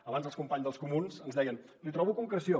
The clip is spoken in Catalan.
abans els companys dels comuns ens deien li trobo concreció